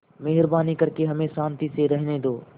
मेहरबानी करके हमें शान्ति से रहने दो